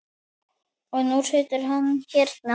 Og nú situr hann hérna.